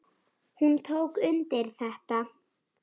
Hún tók undir þetta.